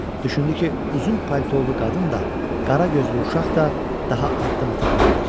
Düşündü ki, uzun paltolu qadın da, qara gözlü uşaq da daha addım ata bilməyəcək.